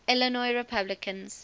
illinois republicans